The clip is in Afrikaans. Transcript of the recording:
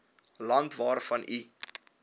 land waarvan u